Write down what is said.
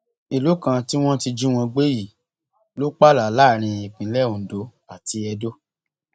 ìlú kan tí wọn ti jí wọn gbé yìí ló pààlà láàrin ìpínlẹ ondo àti edo